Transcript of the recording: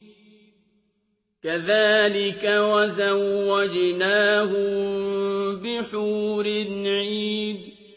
كَذَٰلِكَ وَزَوَّجْنَاهُم بِحُورٍ عِينٍ